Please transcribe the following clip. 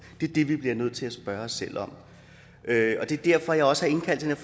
det er det vi bliver nødt til at spørge os selv om det er derfor jeg også har indkaldt til